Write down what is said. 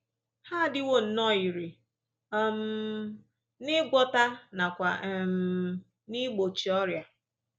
Ha adịwo nnọọ irè um n’ịgwọta nakwa um n’igbochi ọrịa